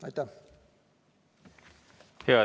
Aitäh!